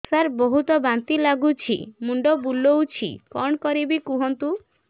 ସାର ବହୁତ ବାନ୍ତି ଲାଗୁଛି ମୁଣ୍ଡ ବୁଲୋଉଛି କଣ କରିବି କୁହନ୍ତୁ